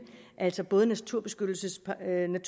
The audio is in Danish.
altså både naturbeskyttelseslovens